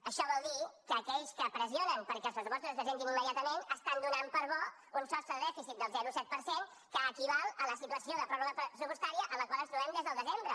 això vol dir que aquells que pressionen perquè els pressupostos es presentin immediatament estan donant per bo un sostre de dèficit del zero coma set per cent que equival a la situació de pròrroga pressupostària en la qual ens trobem des del desembre